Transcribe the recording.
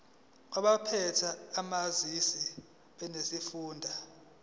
kwabaphethe ezamanzi nesifunda